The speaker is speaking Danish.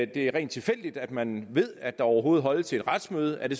det er rent tilfældigt at man ved at der overhovedet holdes et retsmøde er det